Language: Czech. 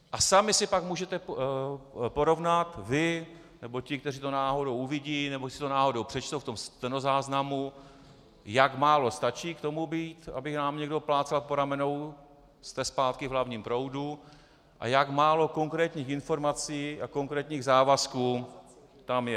A sami si pak můžete porovnat, vy, nebo ti, kteří to náhodou uvidí nebo si to náhodou přečtou v tom stenozáznamu, jak málo stačí k tomu být, aby nám někdo plácal po ramenou, "jste zpátky v hlavním proudu", a jak málo konkrétních informací a konkrétních závazků tam je...